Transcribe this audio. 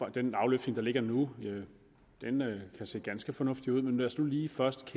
den afløftning der ligger nu kan se ganske fornuftig ud men lad os nu lige først